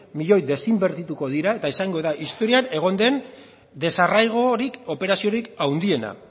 milioi desinbertituko dira eta izango da historian egon den desarraigorik operaziorik handiena